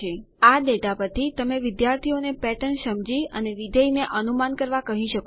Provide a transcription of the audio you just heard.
આ ડેટા પરથી તમે વિદ્યાર્થીઓને પેટર્ન સમજી અને વિધેય ને અનુમાન કરવા કહી શકો છો